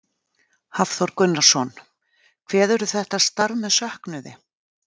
Hafþór Gunnarsson: Kveðurðu þetta starf með söknuði?